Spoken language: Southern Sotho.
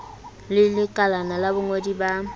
le lekalana la bongodi ba